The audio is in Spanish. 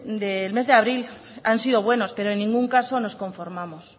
del mes de abril han sido buenos pero en ningún caso nos conformamos